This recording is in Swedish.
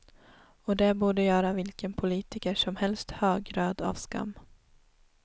Och det borde göra vilken politiker som helst högröd av skam.